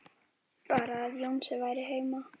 Bara að Jónsi væri heima.